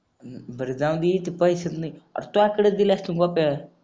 बर जाऊंदे ते पैशाच नाय र तूज्याकडं दिले असतील गोप्या